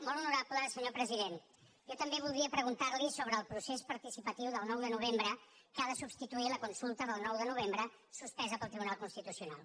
molt honorable senyor president jo també voldria preguntar li sobre el procés participatiu del nou de novembre que ha de substituir la consulta del nou de novembre suspesa pel tribunal constitucional